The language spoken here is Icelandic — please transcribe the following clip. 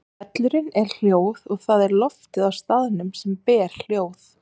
Hvellurinn er hljóð og það er loftið á staðnum sem ber hljóð.